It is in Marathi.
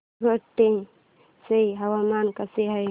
गंगाखेड चे हवामान कसे आहे